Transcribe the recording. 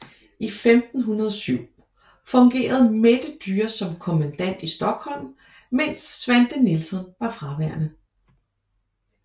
I 1507 fungerede Mette Dyre som kommandant i Stockholm mens Svante Nilsson var fraværende